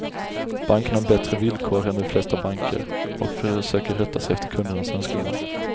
Banken har bättre villkor än de flesta banker och försöker rätta sig efter kundernas önskemål.